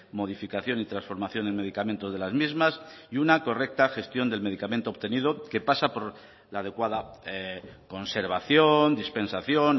modificación y transformación en medicamento de las mismas y una correcta gestión del medicamento obtenido que pasa por la adecuada conservación dispensación